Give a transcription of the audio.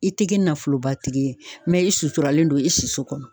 I tɛ kɛ nafolobatigi ye mɛ i suturalen don i si so kɔnɔ